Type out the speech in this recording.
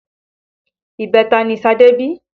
Ibẹta ni Ṣadé bí